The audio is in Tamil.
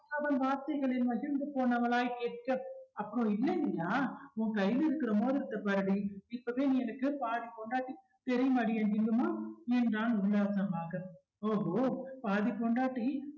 அவன் வார்த்தைகளில் மகிழ்ந்து போனவளாய் கேட்க அப்புறம் இல்லைங்கறியா உன் கையில இருக்கிற மோதிரத்தை பாருடி இப்பவே நீ எனக்கு பாதி பொண்டாட்டி தெரியுமாடி என் ஜிங்குமா என்றான் உல்லாசமாக ஓஹோ பாதி பொண்டாட்டி